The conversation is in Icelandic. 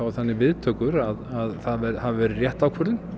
þannig viðtökur að það hafi verið rétt ákvörðun